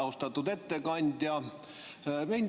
Austatud ettekandja!